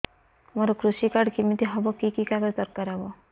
ମୋର କୃଷି କାର୍ଡ କିମିତି ହବ କି କି କାଗଜ ଦରକାର ହବ